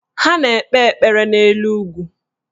Ha na-ekpe ekpere n'elu ugwu